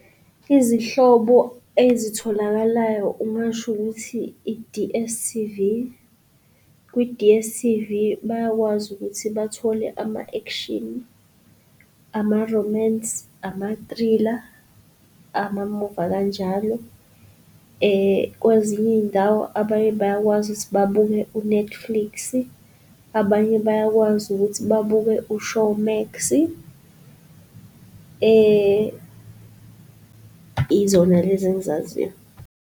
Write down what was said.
Izihlobo ezitholakalayo ungasho ukuthi i-D_S_T_V. Kwi-D_S_T_V bayakwazi ukuthi bathole ama-action, ama-romance, ama-thriller, amamuvi akanjalo kwezinye iy'ndawo abanye bayakwazi ukuthi babuke u-Netflix-i, abanye bayakwazi ukuthi babuke u-ShowMax-i izona lezi engzaziyo.